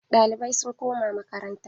Ɗalibai sun koma makaranta.